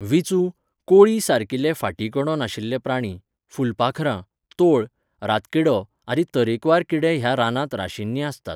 विंचू, कोळी सारकिले फाटीकणो नाशिल्ले प्राणी, फुलपाखरां, तोळ, रातकिडो आदी तरेकवार किडे ह्या रानांत राशीनीं आसतात.